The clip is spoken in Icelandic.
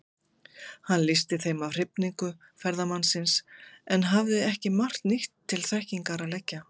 Hann lýsti þeim af hrifningu ferðamannsins, en hafði ekki margt nýtt til þekkingar að leggja.